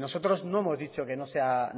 nosotros no hemos dicho que no sea